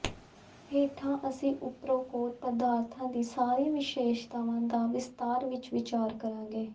ਹੇਠਾਂ ਅਸੀਂ ਉਪਰੋਕਤ ਪਦਾਰਥਾਂ ਦੀਆਂ ਸਾਰੀਆਂ ਵਿਸ਼ੇਸ਼ਤਾਵਾਂ ਦਾ ਵਿਸਤਾਰ ਵਿੱਚ ਵਿਚਾਰ ਕਰਾਂਗੇ